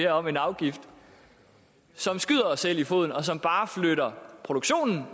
om en afgift som skyder os selv i foden og som bare flytter produktionen